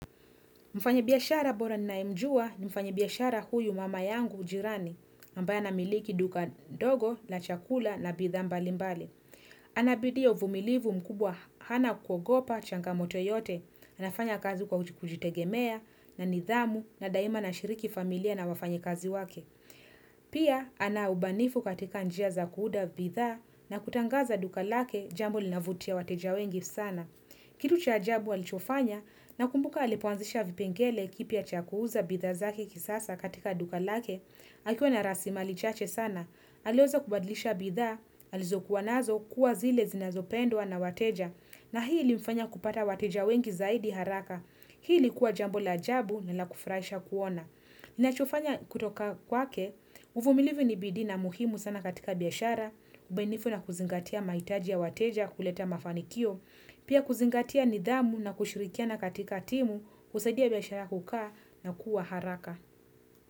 Mfanye biashara bora naimjua ni mfanye biashara huyu mama yangu ujirani, mbaya na miliki duka dogo, la chakula na bidha mbali mbali. Anabidio uvumilivu mkubwa hana kukogopa, changa moto yote, anafanya kazi kwa kujitegemea, na nidhamu, na daima na shiriki familia na wafanye kazi wake. Pia, ana ubanifu katika njia za kuuda bidha na kutangaza duka lake, jambo linavutia wateja wengi sana. Kitu cha ajabu alichofanya na kumbuka alipuanzisha vipengele kipia chakuuza bidhazaki kisasa katika duka lake, akiwa na rasima alichache sana, alioza kubadlisha bidha, alizokuwa nazo kuwa zile zinazopendwa na wateja na hii ilifanya kupata wateja wengi zaidi haraka. Hii likuwa jambo la ajabu na la kufurahisha kuona. Ninachofanya kutoka kwake, uvumilivu nibidi na muhimu sana katika biashara, ubainifu na kuzingatia maitaji ya wateja kuleta mafanikio, pia kuzingatia nidhamu na kushirikia na katika timu, usadia biashara kukaa na kuwa haraka.